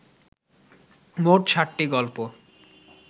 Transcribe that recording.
মোট ষাটটি গল্প